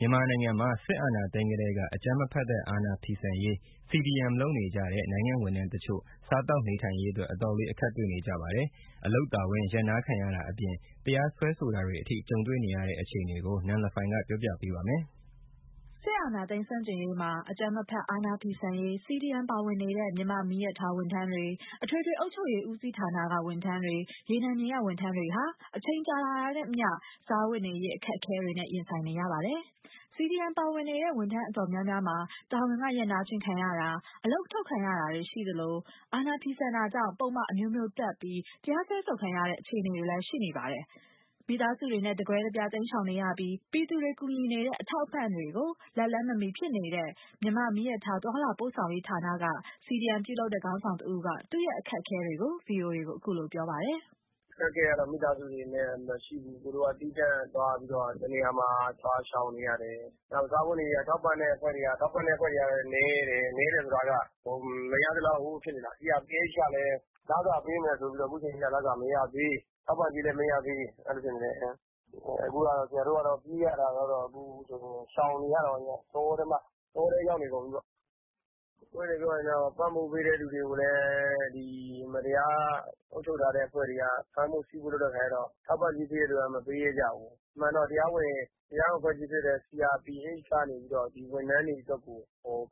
မြန်မာနိုင်ငံမှာ စစ်အာဏာသိမ်းကတည်းက အကြမ်းမဖက်တဲ့ အာဏာဖီဆန်ရေး CDM လုပ်နေကြတဲ့ နိုင်ငံ့ဝန်ထမ်းတချို့ စားသောက် နေထိုင်ရေးအတွက် အတော်လေး အခက်တေ့ွနေကြပါတယ်။ အလုပ်တာဝန် ရပ်နားခံရတာအပြင် တရားစွဲဆိုတာတွေအထိ ကြုံတွေ့နေရပါတယ်။ ရန်ကုန်ကလာတဲ့ သတင်းကို နန်လဖိုင်က ကပြောပြပါမယ်။ စစ်အာဏာသိမ်းမှု ဆန့်ကျင်ရေးမှာ အကြမ်းမဖက် အာဏာဖီဆန်ရေး CDM ပါဝင်နေကြတဲ့ မြန်မာ့မီးရထားဝန်ထမ်းတွေ၊ အထွေထွေအုပ်ချုပ်ရေးဦးစီးဌာနက ဝန်ထမ်းတွေ၊ ရေနံမြေက ဝန်ထမ်းတွေဟာ အချိန်ကြာလာတာနဲ့ အမျှ စားဝတ်နေရေး အခက်အခဲတွေနဲ့ ရင်ဆိုင်နေကြရပါတယ်။ CDM ပါဝင်နေတဲ့ ဝန်ထမ်းအတော်များများမှာ တာဝန်မှ ရပ်နားခြင်းခံရတာ အလုပ်ထုတ်ခံတာတွေ ရှိသလို အာဏာဖီဆန်တာကြောင့် ပုဒ်မအမျိုးမျိုးတပ်ပြီး တရားစွဲဆိုခံထားရတဲ့ အခြေအနေလည်းရှိနေပါတယ်။ မိသားစုနဲ့ တကွဲတပြား တိမ်းရှောင်နေရပြီး ပြည်သူတွေကူညီနေတဲ့ ထောက်ပံ့ကူညီမှုတွေကို လက်လှမ်း မမှီနိုင်ဖြစ်နေတဲ့ မြန်မာ့မီးရထား သွားလာပို့ဆောင်ရေးဌာနက CDM ပြုလုပ်နေတဲ့ ခေါင်းဆောင်တစ်ဦးက သူ့ရဲ့ အခက်အခဲကို ဗွီအိုအေကို ခုလိုပြောပြပါတယ်။ “အခက်အခဲကတော့ မိသားစုတွေနဲ့ မရှိဘူး၊ သူတို့က သီးသန့်သွားပြီးတော့ တစ်နေရာမှာ သွားရှောင်နေရတယ်။ နောက် စားဝတ်နေရေးက ထောက်ပံ့တဲ့ အဖွဲ့တွေကလည်း နည်းတယ်၊ နည်းတယ်ဆိုတာက မရသလောက်ဖြစ်နေတာ CRPH ကလည်း လစာပေးမယ်ဆိုပြီးတော့ အခုချိန်ထိ လစာက မရသေး၊ ထောက်ပံ့ကြေးလည်းမရသေး အဲ့ဒီလိုဖြစ်နေတယ်။ အခုကတော့ဆရာတို့ကတော့ ပြေးရတာကတော့ အခုဆိုရင် ရှောင်နေရတာပေ့ါ တောထဲမှာ တောထဲရောက်နေတုန်းပေါ့။ အပွင့်အလင်းပြောရရင်တော့ ထောက်ပံ့ပေးတဲ့ လူတွေကိုလည်း ဒီမတရား အုပ်ချုပ်ထားတဲ့ အဖွဲ့တွေက ဖမ်းဖို့၊ ဆီးဖို့ လုပ်တဲ့အခါကျတော့ ထောက်ပံ့ကြေးပေးတဲ့ လူက မပေးရဲကြဘူး။ အမှန်တတော့ တရားဝင်အဖွဲ့အစည်းဖြစ်တဲ့ CRPH ကနေပြီးတော့ ဒီဝန်ထမ်းတွေအတွက်ကို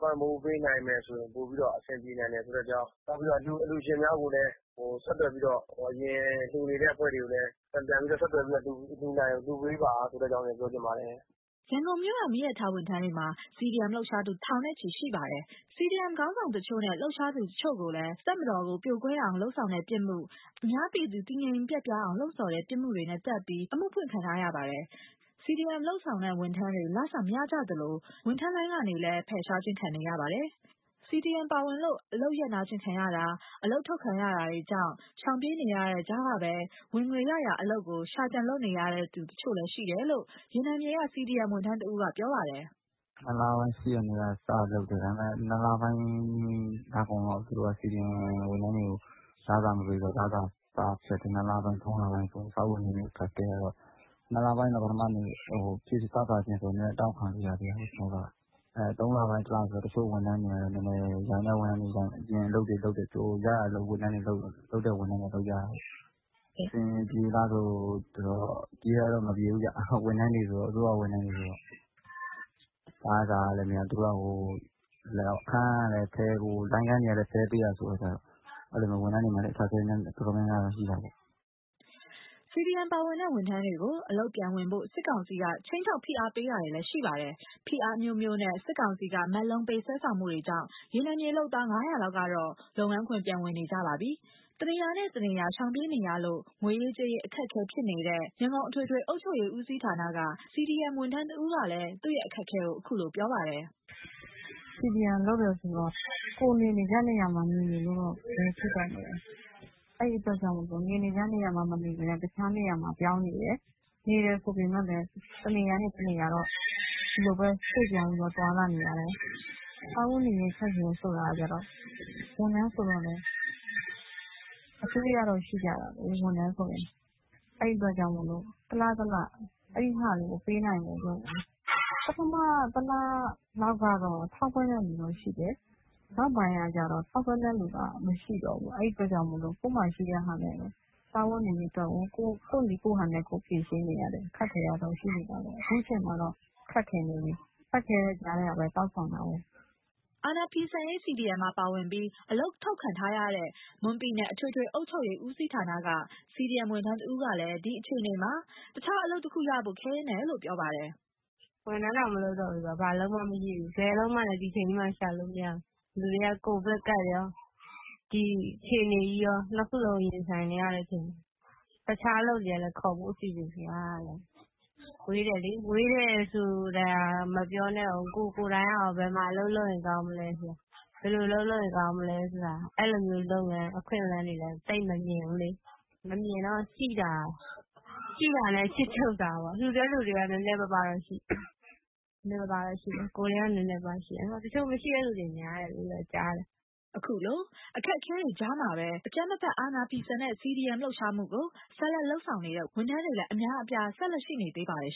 ပံ့ပိုးပေးနိုင်မယ်ဆိုရင် ပိုပြီးတော့ အဆင်ပြေနိုင်မယ်ဆိုတဲ့အကြောင်း နောက်ပြီးတော့ အလှူရှင်များကိုလည်း ဆက်သွယ်ပြီးတော့ အရင်လှူနေတဲ့ အဖွဲ့တွေကိုလည်း ပြန်ပြီးတော့ ဆက်သွယ်ပြီးတော့ လှူနိုင်အောင် လှူပေးပါဆိုတဲ့အကြောင်းလည်း ပြောချင်ပါတယ်။” ရန်ကုန်မြို့က မီးရထားဝန်ထမ်းတွေမှာ CDM လှုပ်ရှားနေကြသူ ထောင်ချီရှိပါတယ်။ CDM ခေါင်းဆောင်တချို့နဲ့ လှုပ်ရှားသူတချို့လည်း တပ်မတော်ကို ပြိုပွဲအောင် လုပ်ဆောင်တဲ့ ပြစ်မှု၊ အများပြည်သူ တည်ငြိမ်ပျက်ပြားအောင် လှုံ့ဆော်တဲ့ ပြစ်မှုတွေ တပ်ပြီး အမှုဖွင့်ခံထားရပါတယ်။ CDM လုပ်နေတဲ့ ဝန်ထမ်းတွေ လစာမရကြသလို ဝန်ထမ်းလိုင်းခန်းကနေလည်း ဖယ်ရှားခံနေရပါတယ်။ CDM ပါဝင်လို့ အလုပ်ရပ်နားခံရတာ အလုပ်ထုတ်ခံရတာကြောင့် ရှောင်ပြေးနေတဲ့ကြားကပဲ ဝင်ငွေရရာအလုပ်ကို ရှာကြံနေရလုပ်နေရတဲ့သူလည်း ရှိတယ်လို့ ရေနံမြေကCDM ဝန်ထမ်းတစ်ဦးက ပြောပါတယ်။ “နှစ်လပိုင်း ၈ ရက်နေ့က စလုပ်တယ်။ ဒါပေမဲ့ နှစ်လပိုင်းလကုန်လောက် သူတို့က CDM ဝန်ထမ်းတွေကို လစာမပေးတော့ လစာ တအားဖျက်တယ်။ နှစ်လပိုင်း၊ သုံးလပိုင်းဆို စားဝတ်နေရေးအခက်အခဲကတော့ နှစ်လပိုင်း ပထမ စစခြင်းဆိုတော့ နည်းနည်းတောက်ခံလိုရသေးတယ်။ ကျနော်က၊ သုံးလပိုင်း တစ်လဆို တချို့ဝန်ထမ်းတွေ နည်းနည်းရတဲ့ဝန်ထမ်းတွေ အပြင်အလုပ်တွေ လုပ်တယ်ပြောတယ်။ ရတဲ့ဝန်ထမ်း လုပ်တဲ့ဝန်ထမ်းတွေ ရတယ်ပေ့ါ။ အဆင်ပြေလားဆိုတော့ ပြေတာတော့ မပြေဘူးဗျ။ ဝန်ထမ်းတွေဆိုတော့ အစိုးရဝန်ထမ်းတွေဆိုတော့ လစာကလည်းမရ၊ လိုင်းခန်းကလည်း ဖယ်ပေးရဆိုတာကျတော့ အဲ့ဒီလို ဝန်ထမ်းတွေမှာလည်း အခက်အခဲတော်တော်များများ ရှိတာပေ့ါ။” CDM ပါဝင်နေတဲ့ ဝန်ထမ်းတွေကို အလုပ်ပြန်ဝင်ဖို့ စစ်ကောင်စီက ခြိမ်းခြောက် ဖိအားပေးတာတွေလည်းရှိပါတယ်။ ဖိအားအမျိုးမျိုးနဲ့ စစ်ကောင်စီက မက်လုံးပေးဆွဲဆောင်မှုကြောင့် ရေနံမြေလုပ်သား ၅၀၀ လောက်ကတော့ လုပ်ငန်းခွင် ပြန်ဝင်နေကြပါတယ်။ တစ်နေရာနဲ့ တစ်နေရာ ရှောင်ပြေးနေရလို့ ငွေရေးကြေးရေး အခက်ခက်ဖြစ်နေတဲ့ ရန်ကုန် အထွေထွေအုပ်ချုပ်ရေးဦးစီးဌာနက CDM ဝန်ထမ်းတစ်ဦးကလည်း သူ့အခက်အခဲကို ခုလို ပြောပါတယ်။ “CDM လုပ်တယ်ဆိုတော့ ကိုယ်နေနေကျနေရာမှာ နေနေလို့တော့ ဘယ်ဖြစ်ပါ့မလဲ။ အဲ့ဒီအတွက်ကြောင့်မို့လို့ နေနေကျနေရာမှာ မနေဘဲနဲ့ တခြားနေရာမှာ ပြောင်းနေတယ်။ နေတယ်ဆိုပေမဲ့လည်း တစ်နေရာနဲ့ တစ်နေရာတော့ ဒီလိုပဲ ရွှေ့ပြောင်းပြီးသွားလာနေရတယ်။ စားဝတ်နေရေး အခက်အခဲဆိုတာကျတော့ ဝန်ထမ်းဆိုတော့လည်း အကြွေးကတော့ရှိကြတယ်။ ဝန်ထမ်းဆိုရင် အဲ့ဒီအတွက်ကြောင့်မို့လို့ တစ်လ၊ တစ်လ အဲ့ဒီတွေကို ပေးနိုင်ဖို့အတွက် ပထမတစ်လလောက်ကတော့ ထောက်ပံ့တဲ့လူတော့ ရှိတယ်။ နောက်ပိုင်းကကျတော့ ထောက်ပံ့တဲ့ လူကမရှိတော့ဘူး။ အဲ့ဒီအတွက်ကြောင့်မို့လို့ ကိုယ့်မှာရှိတဲ့ ဟာနဲ့ပဲ စားဝတ်နေရေးအတွက် ကိုယ့်နည်းကိုယ့်ဟန်နဲ့ ဖြေရှင်းနေရတယ်။ အခက်အခဲကတော့ ရှိနေတာပဲ အချိန်မှာတော့ ခက်ခဲနေပြီး ခက်ခဲတဲ့ကြားထဲကပဲ တောင့်ခံထားတယ်။” အာဏာဖီဆန်ရေး CDM မှာ ပါဝင်ပြီး အလုပ်ထုတ်ခံထားရတဲ့ မွန်ပြည်နယ်အထွေထွေအုပ်ချုပ်ရေးဦးစီးဌာနက CDM ဝန်ထမ်းတစ်ဦးကလည်း ဒီအခြေအနေမှာ တခြားအလုပ်တစ်ခု ရရှိဖို့ ခဲရင်းတယ်လို့ ပြောပါတယ်။ “ဝန်ထမ်းတောင် မလုပ်တော့ဘူးဆိုတော့ ဘာအလုပ်မှ မရှိဘူး။ ဘယ်အလုပ်မှလည်း ဒီအချိန်ကြီးမှာ ရှာလို့မရဘူး။ လူတွေက ကိုဗစ်ကပ်ရော ဒီအခြေအနေကြီးရော နှစ်ခုလုံးရင်ဆိုင်နေရတဲ့အခြေအနေ တခြားအလုပ်တွေကလည်း ခေါ်ဖို့ အစီအစဉ်ဆိုတာကလည်း ဝေးတယ်လေ။ ဝေးဆိုတာမပြောနဲ့အုံး ကိုယ်ကိုယ်တိုင်ကရော ဘယ်မှာ အလုပ်လုပ်ရင်ကောင်းမလဲ၊ ဘယ်လိုအလုပ်လုပ်ရင်ကောင်းမလဲဆိုတာ့ အဲ့ဒီလိုမျိုးလုပ်ငန်း အခွင့်အလမ်းတွေလည်း သိပ်မမြင်ဘူးလေ။ မမြင်တော့ ရှိတဲ့တာနဲ့ ခြစ်ချုပ်စားပေါ့ လှူတဲ့လူတွေက နည်းနည်းပါးပါးရှိတယ် ကိုယ်တွေက နည်းနည်းပါးပါးရှိတယ်။ တချို့မရှိတဲ့ လူလည်း များတယ်လို့ ကြားတယ်။” ခုလိုအခက်အခဲတွေကြားမှာပဲ အကြမ်းမဖက် အာဏာဖီဆန်တဲ့ CDM လှုပ်ရှားမှုကို ဆက်လုပ်နေကြတဲ့ ဝန်ထမ်းတွေလည်း အများအပြား ဆက်ရှိနေပါတယ်